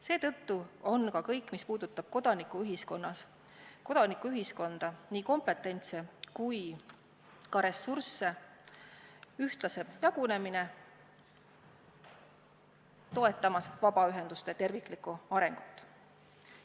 Seetõttu aitab kõik, mis puudutab kodanikuühiskonda, nii kompetentsi kui ka ressursside ühtlasemat jagunemist, toetada vabaühenduste terviklikku arengut.